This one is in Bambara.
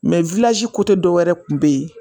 dɔwɛrɛ kun bɛ yen.